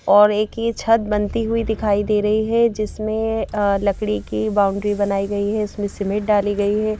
और एक ये छत बनती हुई दिखाई दे रही है जिसमें लकड़ी की बाउंड्री बनाई गई है इसमें सिमेंट डाली गई है।